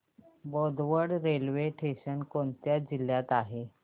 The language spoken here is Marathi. बोदवड रेल्वे स्टेशन कोणत्या जिल्ह्यात आहे